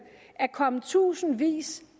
at komme tusindvis